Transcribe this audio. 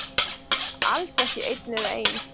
Alls ekki vera einn eða ein.